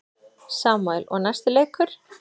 Samúel: Og næsti leikur.